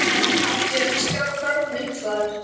Af því er skráð frásögn einhvers staðar.